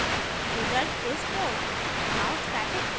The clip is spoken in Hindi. आप देख सकते हैं result is 4